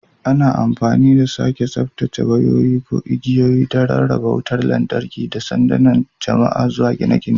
Ana amfani da sake tsaftacewa waya ko igiyoyi don rarraba wutar lantarki daga sandunan jama'a zuwa gine-gine.